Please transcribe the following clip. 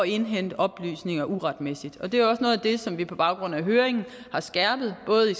indhente oplysninger uretmæssigt og det er jo også noget af det som vi på baggrund af høringen har skærpet både i